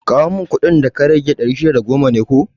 Kawo mun kuɗin wurin ka da ya rage, ɗari shida da goma ne ko?